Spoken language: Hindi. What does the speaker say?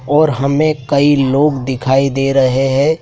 और हमें कई लोग दिखाई दे रहे हैं।